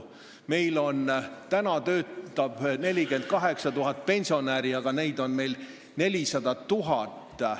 Meil töötab 48 000 pensionäri, aga neid on meil kokku 400 000.